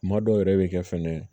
Kuma dɔw yɛrɛ be kɛ fɛnɛ